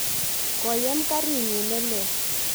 koyem karit nyin ne lel